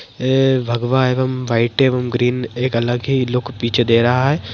ऐ भगवा एवं वाइट एवं ग्रीन एक अलग ही लुक पीछे दे रहा है।